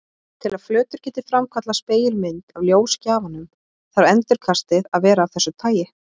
Til að flötur geti framkallað spegilmynd af ljósgjafanum þarf endurkastið að vera af þessu tagi.